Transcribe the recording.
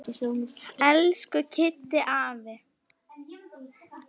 Elsku Kiddi afi.